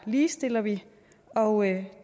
ligestiller vi og